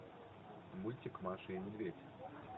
мультик маша и медведь